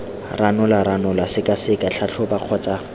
ranola ranola sekaseka tlhatlhoba kgotsa